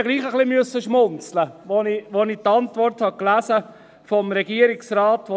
Trotzdem habe ich etwas schmunzeln müssen, als ich die Antwort des Regierungsrats las.